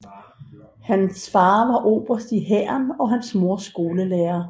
Hans far var oberst i hæren og hans mor skolelærer